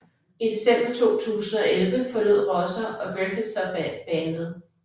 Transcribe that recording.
I december 2011 forlod Rosser og Griffiths så bandet